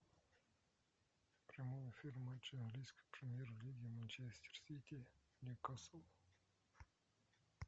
прямой эфир матча английской премьер лиги манчестер сити ньюкасл